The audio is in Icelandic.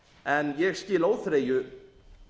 en ég skil óþreyju